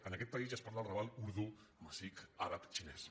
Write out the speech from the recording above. en aquest país ja es parla al raval urdú amazic àrab xinès